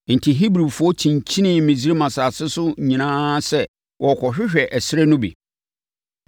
Enti, Hebrifoɔ kyinkyinii Misraim asase so nyinaa sɛ wɔrekɔhwehwɛ ɛserɛ no bi.